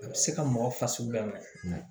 A bɛ se ka mɔgɔ fasugu bɛɛ minɛ